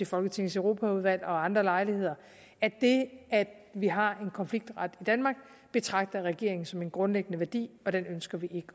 folketingets europaudvalg og ved andre lejligheder at det at vi har en konfliktret i danmark betragter regeringen som en grundlæggende værdi og den ønsker vi